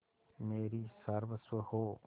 मेरी सर्वस्व हो